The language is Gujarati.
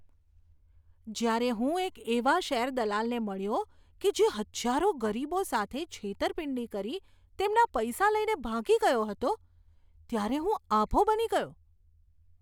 જ્યારે હું એક એવા શેરદલાલને મળ્યો કે જે હજારો ગરીબો સાથે છેતરપિંડી કરી તેમના પૈસા લઈને ભાગી ગયો હતો, ત્યારે હું આભો બની ગયો.